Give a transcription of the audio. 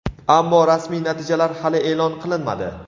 Ammo rasmiy natijalar hali e’lon qilinmadi.